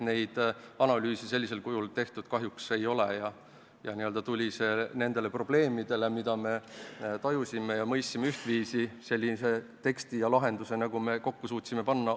Neid analüüse sellisel kujul kahjuks tehtud ei ole ja meil tuli nendele probleemidele, mida me ühtviisi tajusime ja mõistsime, teha oma käe läbi selline tekst ja lahendus, nagu me kokku suutsime panna.